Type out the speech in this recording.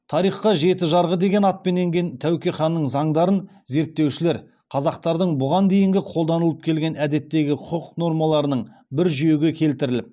тарихқа жеті жарғы деген атпен енген тәуке ханның заңдарын зерттеушілер қазақтардың бұған дейінгі қолданылып келген әдеттегі құқық нормаларының бір жүйеге келтіріліп